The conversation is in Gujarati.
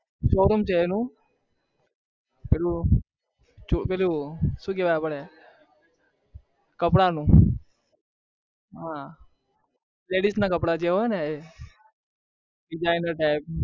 શો રૂમ છે એનુ પેલું શું કેવાય કપડાનું હા traditional કપડા જે હોય ને